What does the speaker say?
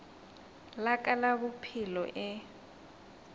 la ka la bophelo e